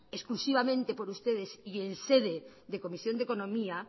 exclusivamente por ustedes y en sede de comisión de economía